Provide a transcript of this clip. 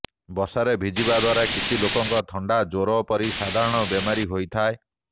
ବର୍ଷାରେ ଭିଜିବା ଦ୍ୱାରା କିଛି ଲୋକଙ୍କ ଥଣ୍ଡା ଜ୍ୱର ପରି ସାଧାରଣ ବେମାରୀ ହୋଇଥାଏ